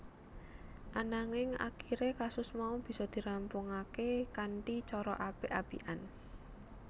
Ananging akiré kasus mau bisa dirampungaké kanthi cara apik apikan